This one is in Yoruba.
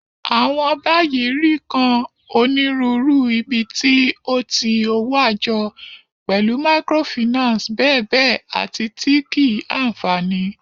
Awọn bayi ri kan Oniruuru ibiti o ti owo ajo, pẹlu microfinance bèbe ati ti kii-anfani.